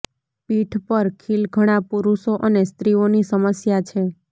પીઠ પર ખીલ ઘણા પુરુષો અને સ્ત્રીઓની સમસ્યા છે